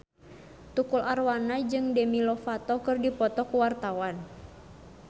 Tukul Arwana jeung Demi Lovato keur dipoto ku wartawan